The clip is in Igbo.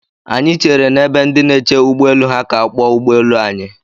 Anyị chere n'ebe ndị na-eche ụgbọ elu ha ka a kpọọ ụgbọ elu anyị.